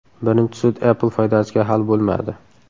Birinchi sud Apple foydasiga hal bo‘lmadi .